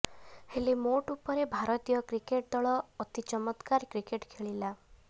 ହେଲେ ମୋଟ ଉପରେ ଭାରତୀୟ କ୍ରିକେଟ୍ ଦଳ ଅତି ଚମତ୍କାର କ୍ରିକେଟ୍ ଖେଳିଲା